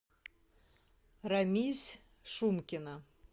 рамис шумкина